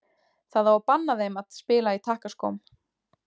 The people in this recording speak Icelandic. Það á að banna þeim að spila í takkaskóm.